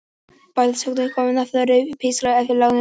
Bæði sögnin píska og nafnorðið pískari eru fengin að láni úr dönsku.